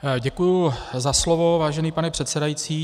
Děkuji za slovo, vážený pane předsedající.